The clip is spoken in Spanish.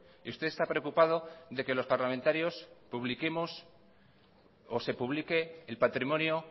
y usted está preocupado de que los parlamentarios publiquemos o se publique el patrimonio